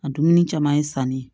A dumuni caman ye sanni